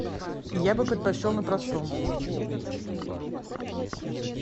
я бы предпочел на простом